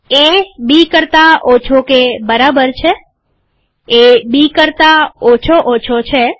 એ B કરતા ઓછો કે બરાબર છે એ બી કરતા ઓછો ઓછો છે